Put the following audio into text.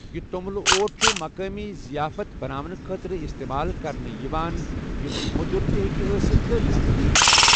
یہِ توٚملہٕ اوٹ چُھ مُقٲمی ظِیافت بَناونہٕ خٲطرٕ اِستعمال کرنہٕ یِوان یۄسہٕ مو٘دٗر تہِ ہیٚکہِ ٲسِتھ تہٕ نمکیٖن تہِ۔